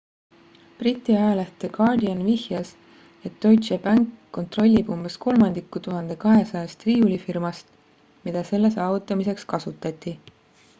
briti ajaleht the guardian vihjas et deutsche bank kontrollib umbes kolmandikku 1200-st riiulifirmast mida selle saavutamiseks kasutati